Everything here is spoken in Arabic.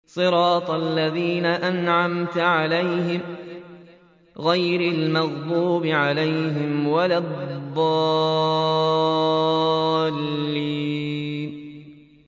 صِرَاطَ الَّذِينَ أَنْعَمْتَ عَلَيْهِمْ غَيْرِ الْمَغْضُوبِ عَلَيْهِمْ وَلَا الضَّالِّينَ